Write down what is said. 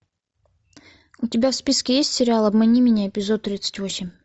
у тебя в списке есть сериал обмани меня эпизод тридцать восемь